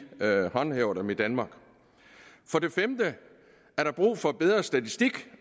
håndhæver dem i danmark for det femte er der brug for bedre statistik